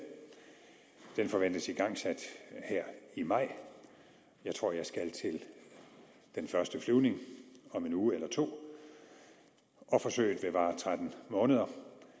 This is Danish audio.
den forventes igangsat her i maj jeg tror jeg skal til den første flyvning om en uge eller to og forsøget vil vare tretten måneder